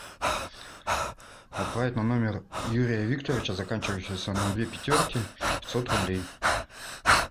отправить на номер юрия викторовича заканчивающийся на две пятерки пятьсот рублей